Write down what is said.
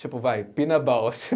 Tipo, vai, Pina Bausch.